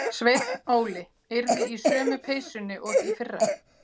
Sveinn Óli yrði í sömu peysunni og í fyrra.